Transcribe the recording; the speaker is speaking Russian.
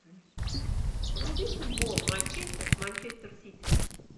вруби футбол манчестер с манчестер сити